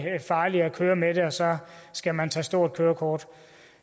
farligere at køre med det og så skal man tage et stort kørekort